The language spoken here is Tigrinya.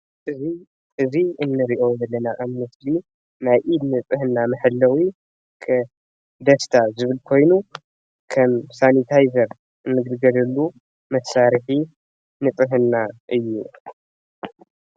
እዚ እንሪኦ ዘለና ናይ ኢድ ንፅህና መሐለዊ ደስታ ዝብል ኮይኑ ከም ሳኒታይዘር እንግልገለሉ መሳርሒ ንጥዕና እዩ፡፡